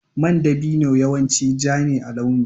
Man dabino yawanci ja ne a launi.